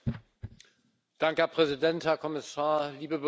Herr Präsident, Herr Kommissar, liebe Berichterstatterin!